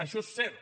això és cert